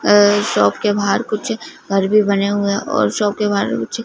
अह shop के बाहर कुछ घर भी बने हुए और शॉप के बाहर कुछ--